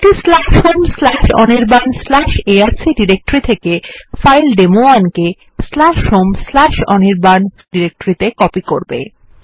এইটি home Anirban arc ডিরেক্টরির থেকে file ডেমো1 home অনির্বাণ এআরসি ডিরেক্টরিত়ে কপি করবে